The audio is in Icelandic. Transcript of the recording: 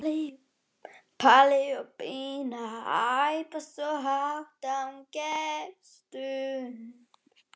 Palli og Pína æpa svo hátt að hún gefst upp.